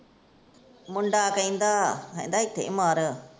ਮੁੰਡਾ ਕਹਿੰਦਾ, ਕਹਿੰਦਾ ਇੱਥੇ ਹੀ ਮਰ।